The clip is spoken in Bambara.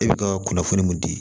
E bɛ ka kunnafoni mun di